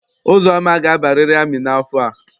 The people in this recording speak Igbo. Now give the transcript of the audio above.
Uzoma ga-abariri amị n'afọ a!